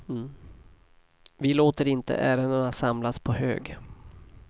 Vi låter inte ärendena samlas på hög.